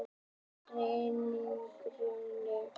Reynihrauni